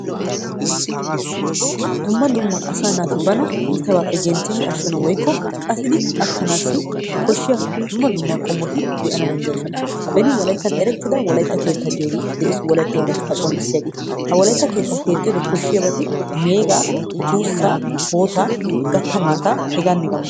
Dumma dumma asaa naati bana iitabaappe genttidi ashshana woykko qatidi attanaassi koshshiya dumma dumma qommoti de'ana danddayoosona. Beni wolayttan erettida wolaytta keettaa giyogee de'ees wolaytta oonatettaa qonccissiyagee. Ha wolaytta keettaa keexxanawu meegaa, tuussaa, hootaa, gatta maataa hegaanne hegaa malati,,,